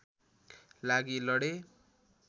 लागि लडे